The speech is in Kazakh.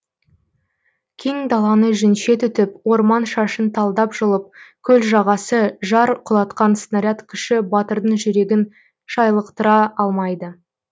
кең даланы жүнше түтіп орман шашын талдап жұлып көл жағасы жар құлатқан снаряд күші батырдың жүрегін шайлықтыра алмайды